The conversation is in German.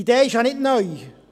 Die Idee ist ja nicht neu;